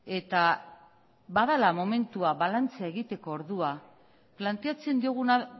eta badela momentua balantzea egiteko ordua planteatzen dioguna